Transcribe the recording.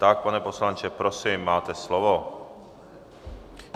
Tak, pane poslanče, prosím, máte slovo.